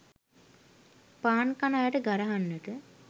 පාන් කන අයට ගරහන්නට